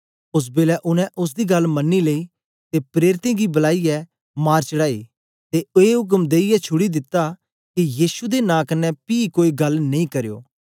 ओस बेलै उनै ओसदी गल्ल मनी लेई ते प्रेरितें गी बलाईयै मार चढ़ांई ते ए उक्म देईयै छुड़ी दिता के यीशु दे नां कन्ने पी कोई गल्ल नेई करयो